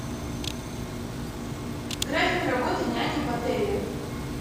график работы няни в отеле